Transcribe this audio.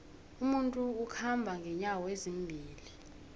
umuntu ukhamba nqenyawo ezimbili